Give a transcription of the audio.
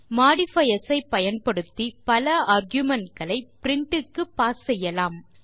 modifiers ஐ பயன்படுத்தி பல ஆர்குமென்ட் களை பிரின்ட் க்கு பாஸ் செய்யலாம்